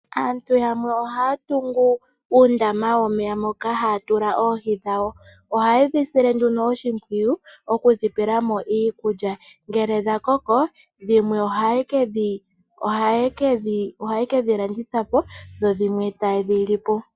Aantu yamwe ohaya tungu uundama womeya moka haya tula oohi dhawo ohaye dhi sile nduno oshimpwiyu okudhipelamo iikulya ngele dha koko dhimwe ohaye kedhi landithapo dho dhimwe taye dhi lipo.